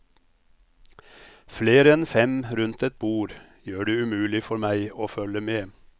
Flere enn fem rundt et bord gjør det umulig for meg å følge med.